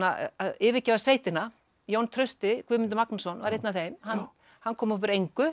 yfirgefa sveitina Jón Trausti Guðmundur Magnússon var einn af þeim hann hann kom upp úr engu